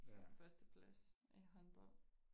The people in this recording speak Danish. Så førsteplads i håndbold